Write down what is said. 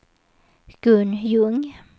Gun Ljung